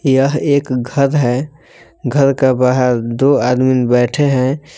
यह एक घर है घर का बाहर दो आदमीन बैठे हैं।